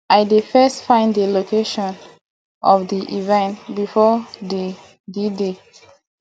i dey first find di location of di event before d dday